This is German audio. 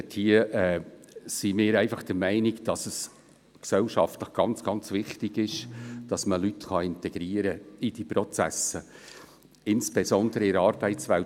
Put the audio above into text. Diesbezüglich sind wir einfach der Meinung, dass es gesellschaftlich ganz, ganz wichtig ist, dass man Leute in diese Prozesse integrieren kann, insbesondere in der Arbeitswelt.